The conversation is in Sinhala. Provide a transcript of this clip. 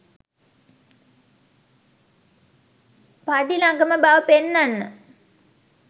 පැඞී ළඟම බව පෙන්නන්න.